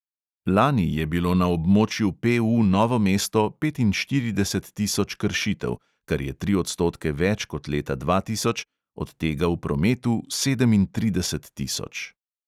Lani je bilo na območju PU novo mesto petinštirideset tisoč kršitev, kar je tri odstotke več kot leta dva tisoč, od tega v prometu sedemintrideset tisoč.